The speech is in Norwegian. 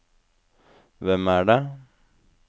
hvem er det